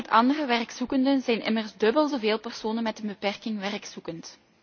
vergelijking met andere werkzoekenden zijn immers dubbel zoveel personen met een beperking werkzoekend.